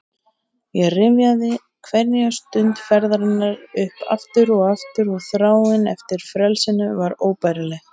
Ég rifjaði hverja stund ferðarinnar upp aftur og aftur og þráin eftir frelsinu var óbærileg.